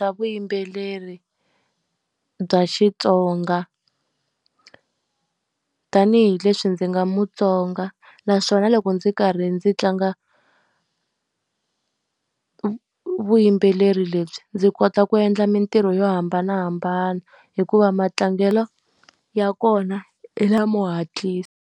Vuyimbeleri bya Xitsonga. Tanihi leswi ndzi nga muTsonga, naswona loko ndzi karhi ndzi tlanga vuyimbeleri lebyi ndzi kota ku endla mintirho yo hambanahambana, hikuva matlangelo ya kona hi lamo hatlisa.